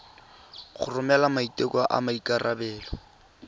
go romela maiteko a maikarebelo